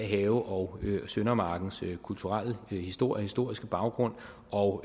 have og søndermarkens kulturelle historie og historiske baggrund og